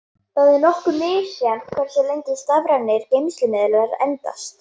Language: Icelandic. Það er nokkuð misjafnt hversu lengi stafrænir geymslumiðlar endast.